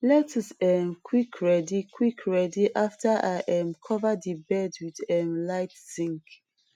lettuce um quick ready quick ready after i um cover the bed wth um light zinc